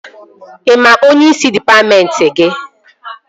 Ị maara onyeisi dịpatmentị gị?